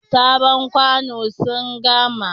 Sabon kwano sun gama.